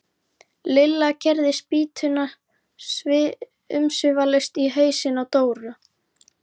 Lilla keyrði spýtuna umsvifalaust í hausinn á Dóra.